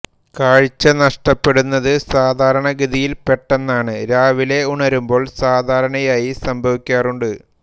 കാഴ്ച നഷ്ടപ്പെടുന്നത് സാധാരണഗതിയിൽ പെട്ടെന്നാണ് രാവിലെ ഉണരുമ്പോൾ സാധാരണയായി സംഭവിക്കാറുണ്ട്